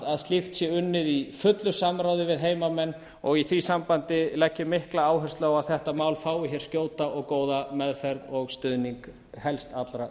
að slíkt sé unnið í fullu samráði við heimamenn og í því sambandi legg ég mikla áherslu á að þetta mál fái hér skjóta og góða meðferð og stuðning helst allra